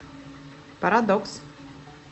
парадокс